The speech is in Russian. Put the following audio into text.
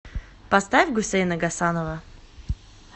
поставь гусейна гасанова